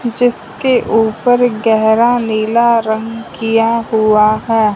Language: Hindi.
जिसके ऊपर गेहरा नीला रंग किया हुआ हैं।